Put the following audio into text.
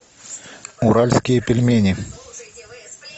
уральские пельмени